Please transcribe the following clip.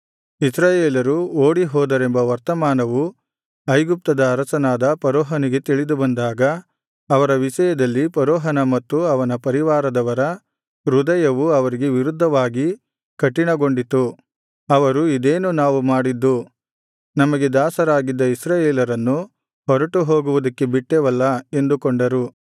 ಇಸ್ರಾಯೇಲರು ಓಡಿಹೋದರೆಂಬ ವರ್ತಮಾನವು ಐಗುಪ್ತದ ಅರಸನಾದ ಫರೋಹನಿಗೆ ತಿಳಿದುಬಂದಾಗ ಅವರ ವಿಷಯದಲ್ಲಿ ಫರೋಹನ ಮತ್ತು ಅವನ ಪರಿವಾರದವರ ಹೃದಯವು ಅವರಿಗೆ ವಿರುದ್ಧವಾಗಿ ಕಠಿಣಗೊಂಡಿತು ಅವರು ಇದೇನು ನಾವು ಮಾಡಿದ್ದು ನಮಗೆ ದಾಸರಾಗಿದ್ದ ಇಸ್ರಾಯೇಲರನ್ನು ಹೊರಟು ಹೋಗುವುದಕ್ಕೆ ಬಿಟ್ಟೆವಲ್ಲಾ ಎಂದುಕೊಂಡರು